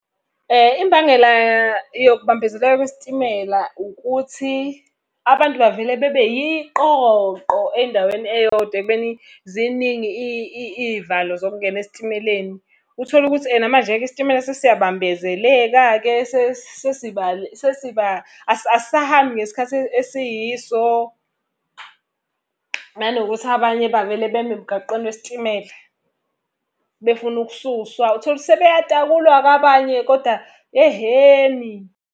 Imbangela yokubambezeleka kwesitimela ukuthi abantu bavele bebe yiqoqo endaweni eyodwa ekubeni ziningi iy'valo zokungena esitimeleni. Uthole ukuthi ena manje-ke isitimela sesiyabambezeleka-ke asisahambi ngesikhathi esiyiso. Nanokuthi abanye bavele beme emgaqweni wesitimela, befuna ukususwa uthole ukuthi sebeyatakulwa-ke abanye kodwa yehheni!